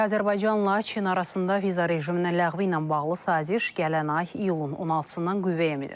Azərbaycanla Çin arasında viza rejiminin ləğvi ilə bağlı saziş gələn ay iyulun 16-dan qüvvəyə minir.